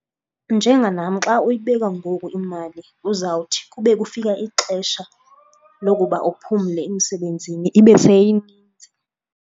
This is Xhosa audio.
Njenganam xa uyibeka ngoku imali uzawuthi kube kufika ixesha lokuba uphumle emsebenzini ibe seyinintsi.